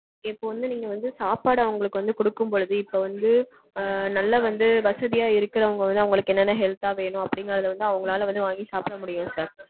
இப்போ வந்து நீங்க வந்து சாப்பாடு அவங்களுக்கு வந்து கொடுக்கும்பொழுது இப்போ வந்து நல்ல வசதியா இருக்கறவங்க அவங்களுக்கு என்னென்ன health தா வேணும் அப்டீங்கறது வந்து அவங்களால வந்து வாங்கி சாப்பட முடியும் sir.